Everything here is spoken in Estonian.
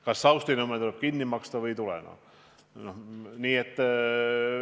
Kas Saustinõmme tuleb kinni maksta või ei tule?